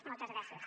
moltes gràcies